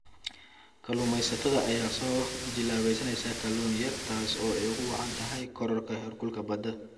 Kalluumeysatada ayaa soo jilaabaneysa kalluun yar taas oo ay ugu wacan tahay kororka heerkulka badda.